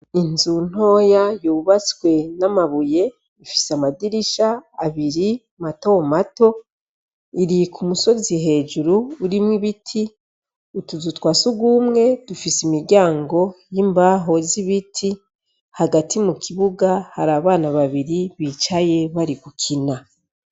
Inzu ntoya yubatswe n' amabuye ifise amadirisha abiri mato mato iri kumusozi hejuru urimwo ibiti utuzu twa sugumwe dufise imiryango y' imbaho z' ibiti hagati mu kibuga hari abana babiri bicaye bari gukina.